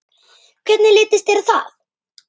Hvernig litist þér á það?